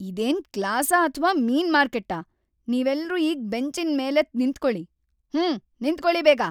ಇದೇನ್ ಕ್ಲಾಸಾ ಅಥ್ವಾ ಮೀನ್ ಮಾರ್ಕೆಟ್ಟಾ? ನೀವೆಲ್ರೂ ಈಗ ಬೆಂಚಿನ್ ಮೇಲೆದ್ದ್‌ ನಿಂತ್ಕೊಳಿ, ಹೂಂ! ನಿಂತ್ಕೊಳಿ ಬೇಗ!